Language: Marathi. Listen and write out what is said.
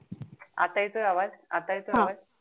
आता येतोय आवाज हा